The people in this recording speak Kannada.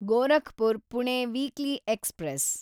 Gorakhpur Pune weekly express